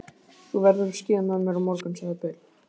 Þú verður að skíða með mér á morgun, sagði Bill.